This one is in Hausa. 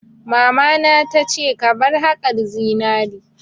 Mamana ta ce 'Ka bar haƙar zinari'!